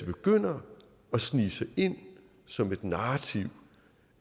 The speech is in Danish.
det begynder at snige sig ind som et narrativ